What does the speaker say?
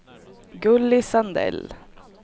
Gulli Sandell